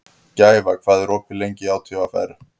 Gæfa, hvað er opið lengi í ÁTVR?